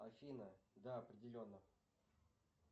афина да определенно